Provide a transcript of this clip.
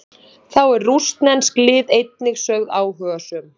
Þá eru rússnesk lið einnig sögð áhugasöm.